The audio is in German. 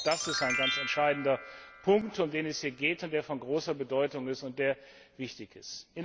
Ich denke, auch das ist ein ganz entscheidender Punkt, um den es hier geht und der von großer Bedeutung ist.